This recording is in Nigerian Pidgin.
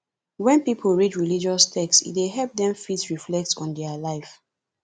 when pipo read religious text e dey help dem fit reflect on their life